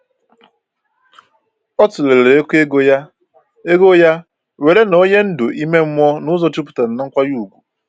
O tụlere oke ego ya ego ya nwere na onye ndu ime mmụọ n’ụzọ jupụtara n’nkwanye ùgwù.